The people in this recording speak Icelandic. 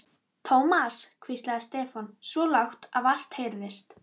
Thomas hvíslaði Stefán, svo lágt að vart heyrðist.